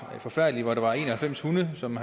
forfærdelig der var en og halvfems hunde som